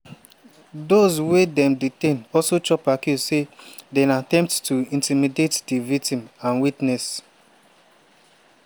dose wey dem detain also chop accuse say dem attempt to intimidate di victims and witnesses.